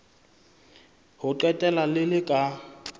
ho qetela le le ka